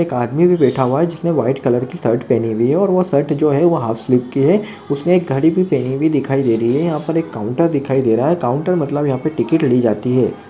एक आदमी भी बैठा हुआ है जिसने व्हाइट कलर की शर्ट पहनि हुई है और वो शर्ट जो है वो हाफ स्लीव की है उसने एक घड़ी भी पहनी हुई दिखाई दे रही है यहाँ पर एक काउंटर दिखाई दे रहा है काउंटर मतलब यहाँ पे टिकिट ली जाती है।